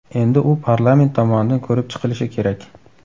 Endi u parlament tomonidan ko‘rib chiqilishi kerak.